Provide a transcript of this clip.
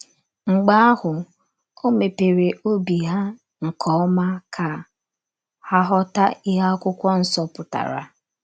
Mgbe ahụ, o mepere obi ha nke ọma ka ha ghọta ihe Akwụkwọ Nsọ pụtara. ”